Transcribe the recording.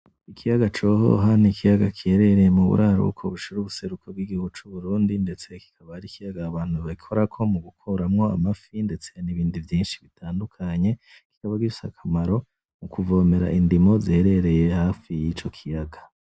Ikiyaga Cohoha n'ikiyaga cibereye muburaruko bushira ubuseruko bw'igihugu c'Uburundi. Ndetse kikaba ari ikiyaga abantu bikorako mugukuramwo amafi ndetse nibindi vyinshi bitandukanye, bibabifise akamaro mukuvomera indimo ziherereye hafi yico kiyaga.